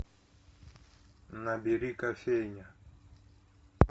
набери кофейня